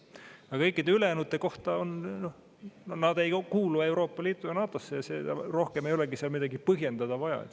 Aga kõikide ülejäänute kohta võib öelda, et nad ei kuulu Euroopa Liitu ega NATO-sse, ja rohkem ei olegi midagi põhjendada vaja.